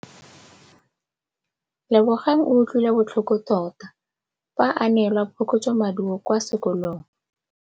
Lebogang o utlwile botlhoko tota fa a neelwa phokotsômaduô kwa sekolong.